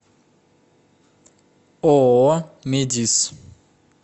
ооо медис